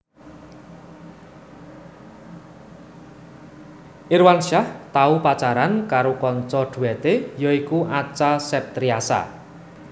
Irwansyah tau pacaran karo kanca dhuwete ya iku Acha Septriasa